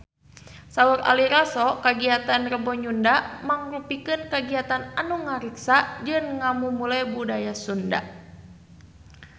Saur Ari Lasso kagiatan Rebo Nyunda mangrupikeun kagiatan anu ngariksa jeung ngamumule budaya Sunda